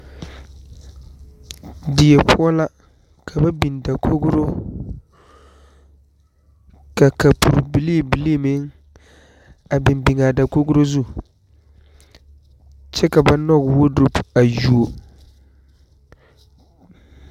Die poɔ la ka ba biŋ dakoro, ka kapur bilibili meŋ a biŋ biŋ a dakoro zu kyɛ ka ba nyɔge wodurobe a yuo.